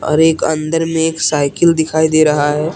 एक अंदर मे एक साइकिल दिखाई दे रहा है।